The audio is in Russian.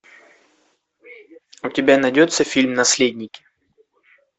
у тебя найдется фильм наследники